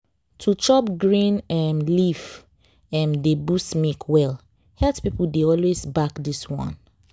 to chop green um leaf um dey boost milk well. health people dey always back this one